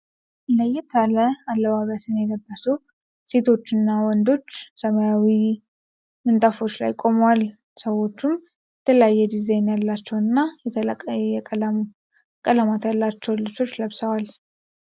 ለየት ያለ አለባበስን የለበሱ ሴቶች እና ወንዶች ሰማያዊ ምንጣፎች ላይ ቆመዋል። ሰዎቹም የተለያየ ዲዛይን ያላቸው እና የተለያየ ቀለማት ያላቸውን ልብሶች ለብሰዋል።